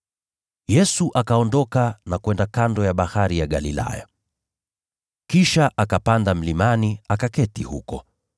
Yesu akaondoka na kwenda kando ya Bahari ya Galilaya. Kisha akapanda mlimani, akaketi huko.